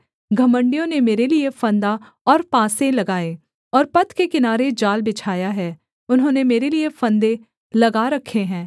घमण्डियों ने मेरे लिये फंदा और पासे लगाए और पथ के किनारे जाल बिछाया है उन्होंने मेरे लिये फंदे लगा रखे हैं सेला